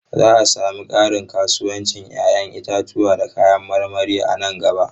Za a sami ƙarin kasuwancin 'ya'yan itatuwa da kayan marmari a nan gaba.